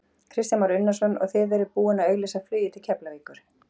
Kristján Már Unnarsson: Og þið eruð búinn að auglýsa flugið til Keflavíkur?